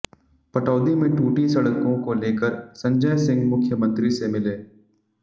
पटौदी में टूटी सड़कों को लेकर संजय सिंह मुख्यमंत्री से मिले